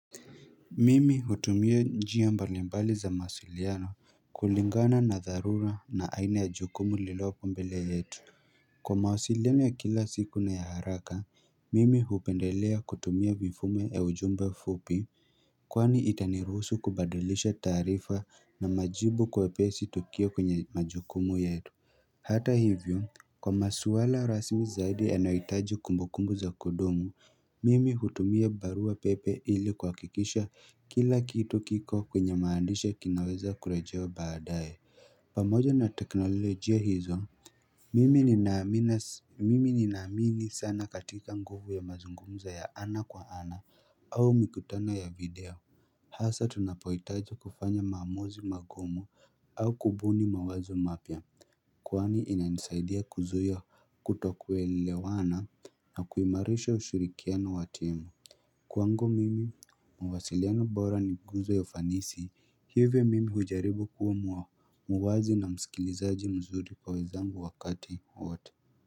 Mimi hutumia njia mbalimbali za mawasiliano kulingana na dharura na aina ya jukumu lilopo mbele yetu Kwa mawasiliano ya kila siku na ya haraka mimi hupendelea kutumia vifume ya ujumbe fupi Kwani itaniruhusu kubadilisha taarifa na majibu kwa upesi tukio kwenye majukumu yetu Hata hivyo kwa maswala rasmi zaidi yanahitaji kumbukumbu za kudumu Mimi hutumia barua pepe ili kuhakikisha kila kitu kiko kwenye maandisha kinaweza kurejewa baadae pamoja na teknolojia hizo Mimi ni ninaaminas mimi nina naamini sana katika nguvu ya mazungumzo ya ana kwa ana au mikutano ya video Hasa tunapohitaja kufanya maamuzi magumu au kubuni mawazo mapya Kwani ina nisaidia kuzuia kutokuelewana na kuimarisha ushirikiano wa timu Kwangu mimi mawasiliano bora ni nguzo ya ufanisi hivyo mimi hujaribu kuwa muwazi na msikilizaji mzuri kwa wenzangu wakati wote.